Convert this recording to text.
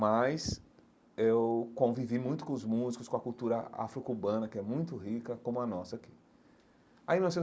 Mas eu convivi muito com os músicos, com a cultura afro-cubana, que é muito rica, como a nossa aqui aí.